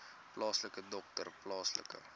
plaaslike dokter plaaslike